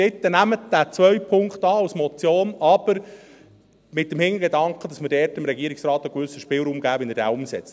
Bitte nehmt diesen zweiten Punkt als Motion an, aber mit dem Hintergedanken, dass wir dort dem Regierungsrat einen gewissen Spielraum geben, wie er diesen umsetzt.